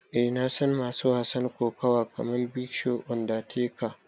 Eh na san masu kokawa kaman big show, undertaker.